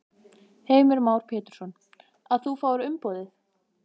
Heimir Már Pétursson: Að þú fáir umboðið?